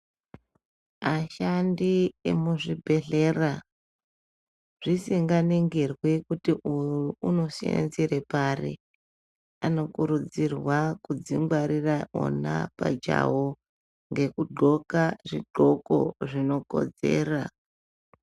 Ashandi emuzvibhehlera zvisinganingirwi kuti uyu unosenzera pari anokurudzirwa kudzingwarira ona pachawo ngekudxoka zvidxoko zvinokodzera.